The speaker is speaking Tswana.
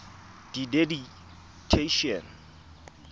didactician